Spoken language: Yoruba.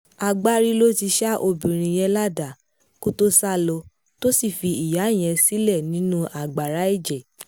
agbárí ló ti ṣa obìnrin yẹn ládàá kó tóo sá lọ tó sì fi ìyá yẹn sílẹ̀ nínú agbára ẹ̀jẹ̀